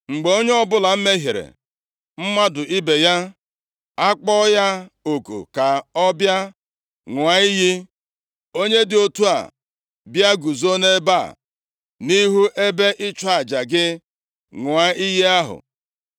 “Mgbe onye ọbụla mehiere mmadụ ibe ya, a kpọọ ya oku ka ọ bịa ṅụọ iyi, onye dị otu a bịa, guzo nʼebe a, nʼihu ebe ịchụ aja gị a, ṅụọ iyi ahụ.